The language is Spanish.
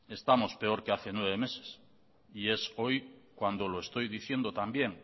estamos peor que hace nueve meses y es hoy cuando lo estoy diciendo también